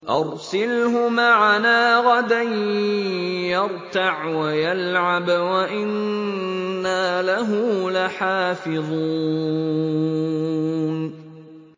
أَرْسِلْهُ مَعَنَا غَدًا يَرْتَعْ وَيَلْعَبْ وَإِنَّا لَهُ لَحَافِظُونَ